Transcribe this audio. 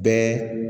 Bɛɛ